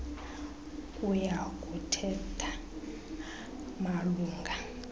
kuya kuthatha malunga